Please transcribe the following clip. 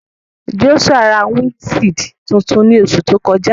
Joshua ra windṣiidi tuntun ni oṣu to kọja.